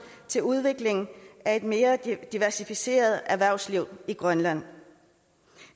til udvikling af et mere diversificeret erhvervsliv i grønland